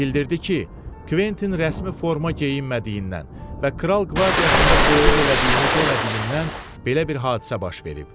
Bildirdi ki, Kventin rəsmi forma geyinmədiyindən və kral qvardiyasında qulluq elədiyini demədiyindən belə bir hadisə baş verib.